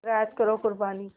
ज़रा याद करो क़ुरबानी